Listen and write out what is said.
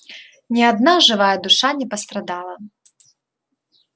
ни одна живая душа не пострадала